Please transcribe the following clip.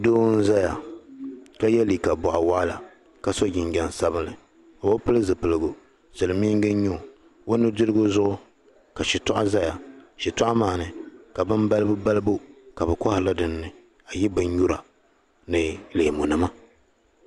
Doo n-zaya ka ye liiga bɔɣu waɣila ka so jinjam sabinli o bi pili zipiligu Silimiingi n-nya o o nudirigu zuɣu ka shitoɣu zaya shitoɣu maa ni ka bin balibu balibu ka bɛ kɔhiri li din ni binyura ni leemunima.